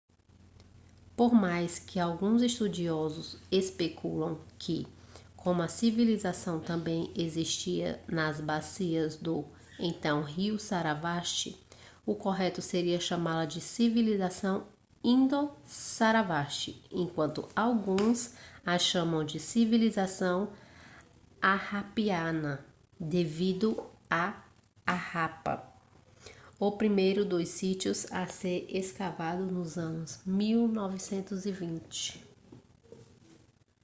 por mais que alguns estudiosos especulam que como a civilização também existia nas bacias do então rio sarasvati o correto seria chamá-la de civilização indo-sarasvati enquanto alguns a chamam de civilização harappiana devido a harappa o primeiro dos sítios a ser escavado nos anos 1920